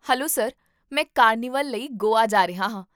hello sir, ਮੈਂ carnival ਲਈ ਗੋਆ ਜਾ ਰਿਹਾ ਹਾਂ